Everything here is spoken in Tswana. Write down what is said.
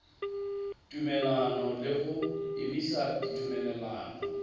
tumelelano le go emisa tumelelano